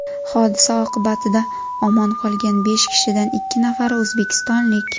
Hodisa oqibatida omon qolgan besh kishidan ikki nafari o‘zbekistonlik.